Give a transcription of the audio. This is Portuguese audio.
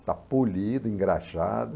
Está polido, engraxado.